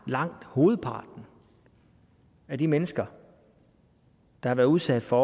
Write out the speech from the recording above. langt hovedparten af de mennesker der har været udsat for